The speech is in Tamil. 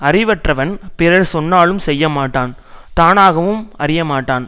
அறிவற்றவன் பிறர் சொன்னாலும் செய்யமாட்டான் தானாகவும் அறியமாட்டான்